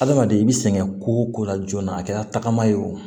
Adamaden i bi sɛgɛn ko la joona a kɛra tagama ye o